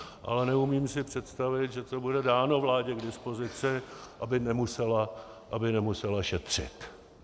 Ale neumím si představit, že to bude dáno vládě k dispozici, aby nemusela šetřit.